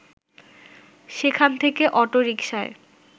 সেখান থেকে অটো রিকশায়